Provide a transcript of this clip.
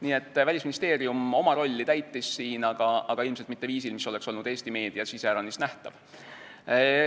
Nii et Välisministeerium oma rolli siin täitis, aga ilmselt mitte viisil, mis oleks olnud Eesti meedias iseäranis nähtav.